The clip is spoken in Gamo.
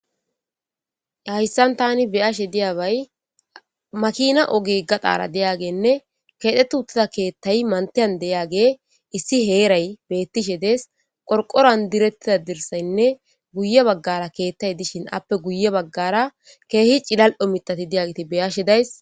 hayssan tani beyashe diyabay makina oge gaxaara deyagenne keexxetu uttida keethtay mantiyan deyaage issi heeray bettishe dees qorqoran direttida dirsaynne guye baggara keettay dishin appe guye baggara keehi cilal7o mitati diyagiti beyashe days